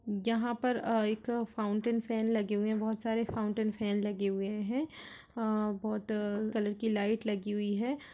यहां पर अं -- एक फाउंटेन फेन लगे हुए है बहुत सारे फाउंटेन फेन लगे हुए हैं अ बहुत कलर की लाइट लगी हुई है।